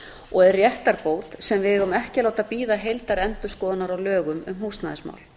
og er réttarbót sem við eigum ekki að láta bíða heildarendurskoðunar á lögum um húsnæðismál